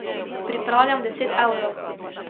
Pripravljam deset evrov.